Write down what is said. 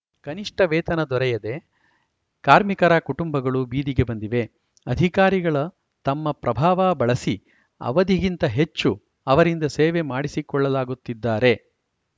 ಕನಿಷ್ಠ ವೇತನ ದೊರೆದಯೇ ಕಾರ್ಮಿಕರ ಕುಟುಂಬಗಳು ಬೀದಿಗೆ ಬಂದಿವೆ ಅಧಿಕಾರಿಗಳ ತಮ್ಮ ಪ್ರಭಾವ ಬಳಸಿ ಅವಧಿಗಿಂತ ಹೆಚ್ಚು ಅವರಿಂದ ಸೇವೆ ಮಾಡಿಸಿಕೊಳ್ಳಲಾಗುತ್ತಿದ್ದಾರೆ